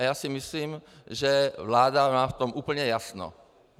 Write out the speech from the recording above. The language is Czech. A já si myslím, že vláda má v tom úplně jasno.